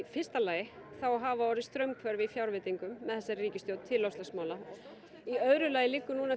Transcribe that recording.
fyrsta lagi hafa orðið straumhvörf í fjárveitingum með þessari ríkisstjórn til loftslagsmála í öðru lagi liggur